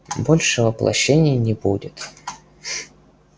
больше воплощений не будет